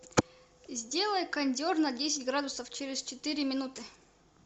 сделай кондер на десять градусов через четыре минуты